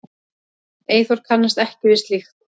Eyþór kannast ekki við slíkt.